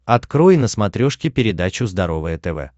открой на смотрешке передачу здоровое тв